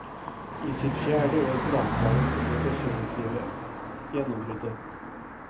I sitt fjerde år på landslaget kom det definitive gjennombruddet.